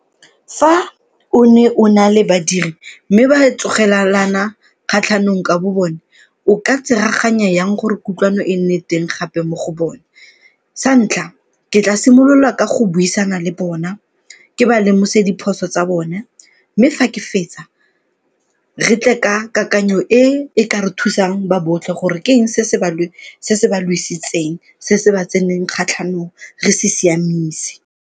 Fa o ne o na le badiri mme ba kgatlhanong ka bo bone o ka tsereganya jang gore kutlwano e nne teng gape mo go bone? Sa ntlha, ke tla simolola ka go buisana le bona ke ba lemose diphoso tsa bone mme fa ke fetsa, re tle ka kakanyo e e ka re thusang ba botlhe gore ke eng se se ba lwesitseng, se se ba tseneng kgatlhanong re se siamise.